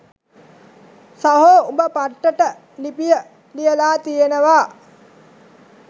සහෝ උඹ පට්ටට ලිපිය ලියලා තියෙනවා